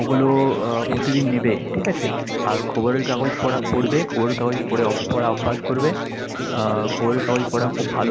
ওগুলো উহ প্রতিদিন নিবে। ঠিক আছে? আর খবরের কাগজ পড়া পড়বে। খবরের কাগজ পড়ে পড়া অভ্যাস করবে। আহ খবরের কাগজ পড়া খুব ভালো।